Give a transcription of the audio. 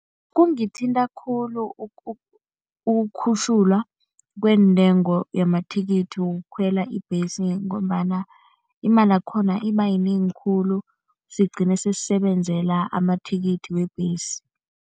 Kungithinta khulu ukukhutjhulwa kweentengo yamathikithi wokukhwela ibhesi ngombana imalakhona ibayinengi khulu, sigcina sesisebenzela amathikithi webhesi.